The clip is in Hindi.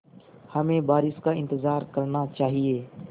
हमें बारिश का इंतज़ार करना चाहिए